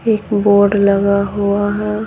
एक बोर्ड लगा हुआ है।